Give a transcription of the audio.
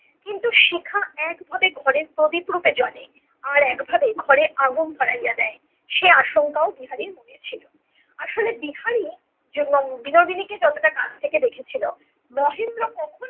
কিন্তু শিখা একভাবে ঘরের প্রদীপ রূপে জ্বলে। আর একভাবে ঘরে আগুন ধরাইয়া দেয়। সে আশঙ্কাও বিহারীর মনে ছিল।